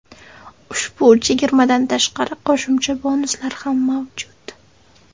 Ushbu chegirmadan tashqari qo‘shimcha bonuslar ham mavjud.